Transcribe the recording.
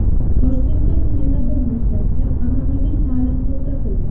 Toshkentdagi yana bir maktabda an’anaviy ta’lim to‘xtatildi.